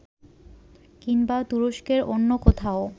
কিংবা তুরস্কের অন্য কোথাও